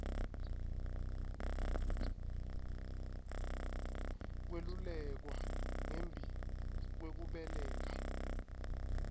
kwelulekwa ngembi kwekubeleka